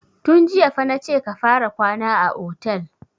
Tun jiya fa na ce ka fara kwana a otel!